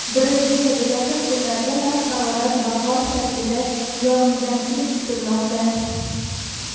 Braziliyada yaqin kunlarda past harorat va qor shaklida yog‘ingarchilik kutilmoqda.